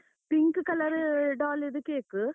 pink color doll ದು cake.